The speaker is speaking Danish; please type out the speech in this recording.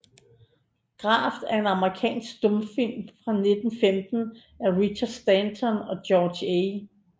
Graft er en amerikansk stumfilm fra 1915 af Richard Stanton og George A